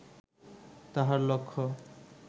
তাঁহার লক্ষ্য